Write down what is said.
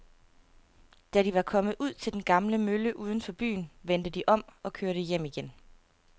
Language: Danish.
Da de var kommet ud til den gamle mølle uden for byen, vendte de om og kørte hjem igen.